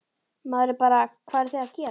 Maður er bara, hvað eruð þið að gera?